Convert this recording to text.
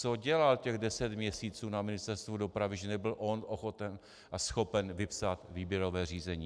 Co dělal těch deset měsíců na Ministerstvu dopravy, že nebyl on ochoten a schopen vypsat výběrové řízení?